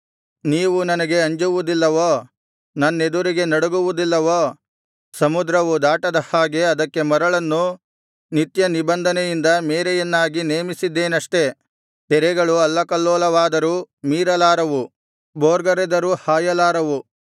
ನೀವು ನನಗೆ ಅಂಜುವುದಿಲ್ಲವೋ ನನ್ನೆದುರಿಗೆ ನಡುಗುವುದಿಲ್ಲವೋ ಸಮುದ್ರವು ದಾಟದ ಹಾಗೆ ಅದಕ್ಕೆ ಮರಳನ್ನು ನಿತ್ಯನಿಬಂಧನೆಯಿಂದ ಮೇರೆಯನ್ನಾಗಿ ನೇಮಿಸಿದ್ದೇನಷ್ಟೆ ತೆರೆಗಳು ಅಲ್ಲಕಲ್ಲೋಲವಾದರೂ ಮೀರಲಾರವು ಭೋರ್ಗರೆದರೂ ಹಾಯಲಾರವು